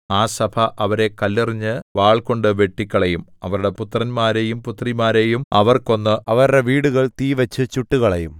ആ സഭ അവരെ കല്ലെറിഞ്ഞ് വാൾകൊണ്ടു വെട്ടിക്കളയും അവരുടെ പുത്രന്മാരെയും പുത്രിമാരെയും അവർ കൊന്ന് അവരുടെ വീടുകൾ തീവച്ച് ചുട്ടുകളയും